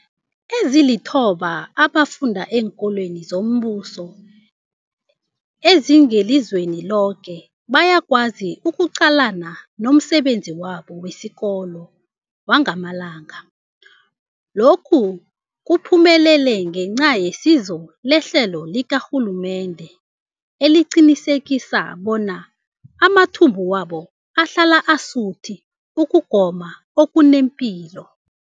Ezilithoba abafunda eenkolweni zombuso ezingelizweni loke bayakwazi ukuqalana nomsebenzi wabo wesikolo wangamalanga. Lokhu kuphumelele ngenca yesizo lehlelo likarhulumende eliqinisekisa bona amathumbu wabo ahlala asuthi ukugoma okunepilo.